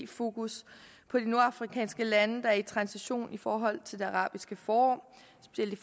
fokus på de nordafrikanske lande der er i transition i forhold til det arabiske forår